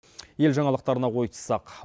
ел жаңалықтарына ойыссақ